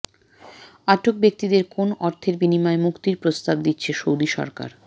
আটক ব্যক্তিদের কেন অর্থের বিনিময়ে মুক্তির প্রস্তাব দিচ্ছে সৌদি সরকার